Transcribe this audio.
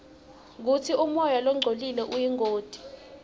kutsi umoya longcolile uyingoti ngani